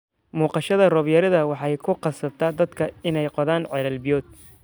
Muuqashada roob yarida waxay ku khasabtay dadka inay qodaan ceelal biyood.